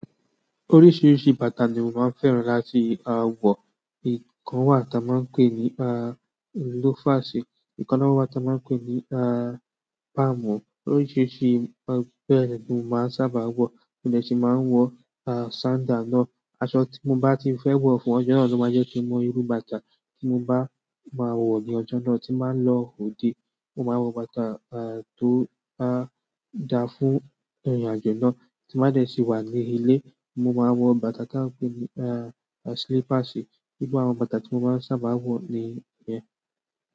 Oríṣiríṣi bàtà ni mò maa ń fẹ́ràn láti wọ. Nìkan wá ta máa ń pè ní lofàṣì, ìkan náà wá ta máa ń pè ní pámu. Oríṣiríṣi bẹ́ẹ̀ ni mò maa ń sábà wọ̀. Mo de ṣì máa ń wọ sandal náà. Aṣọ tí mo bá ti ń fẹ́ wọ̀ fún ọjọ́ náà ló máa ń jẹ́ kí ń mọ irú bàtà tí mo bá máa wọ̀ ní ọjọ́ náà. Tí n bá n lọ òde, mo máa wọ bàtà tó bá da fún ìrìnàjò náà. Tí n bá dé sí wà ní ilé, mo máa wọ bàtà tí wọ́n ń pè ní slipasi. Irú àwọn bàtà tí mo máa sábà wọ nìyẹn.